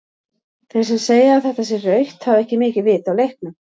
Þeir sem segja að þetta sé rautt hafa ekki mikið vit á leiknum.